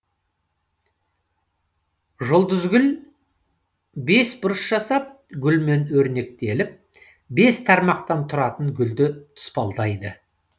жұлдызгүл бес бұрыш жасап гүлмен өрнектеліп бес тармақтан тұратын гүлді тұспалдайды